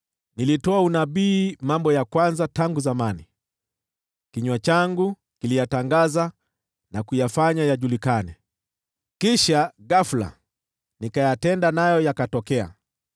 Nilitoa unabii mambo ya kwanza tangu zamani, kinywa changu kiliyatangaza na kuyafanya yajulikane; kisha ghafula nikayatenda, nayo yakatokea.